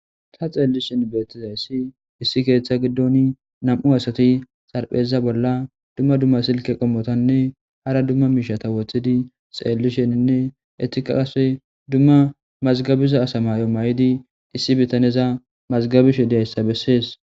Ta xeelli shen beettizayssi issi keeththa giddoni nam'u asati xarpheza bolla dumma dumma silke qommotanne hara dumma miishata wothidi xeelli shenninne ettika qase dumma mazgabiza asamayo mayidi issi bitaneza mazgabishe diyayssa bessees.